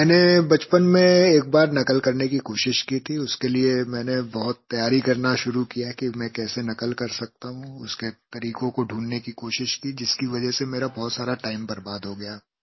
मैंने बचपन में एक बार नक़ल करने की कोशिश की थी उसके लिये मैंने बहुत तैयारी करना शुरू किया कि मैं कैसे नक़ल कर सकता हूँ उसके तरीक़ों को ढूँढ़ने की कोशिश की जिसकी वजह से मेरा बहुत सारा टाइम बर्बाद हो गया